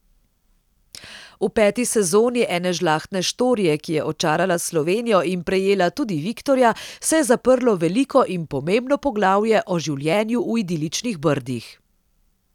V peti sezoni Ene žlahtne štorije, ki je očarala Slovenijo in prejela tudi viktorja, se je zaprlo veliko in pomembno poglavje o življenju v idiličnih Brdih.